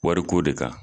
Wariko de kan